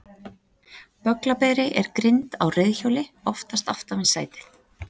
Bögglaberi er grind á reiðhjóli, oftast aftan við sætið.